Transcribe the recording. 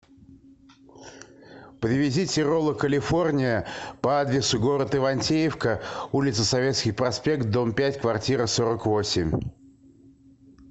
привезите роллы калифорния по адресу город ивантеевка улица советский проспект дом пять квартира сорок восемь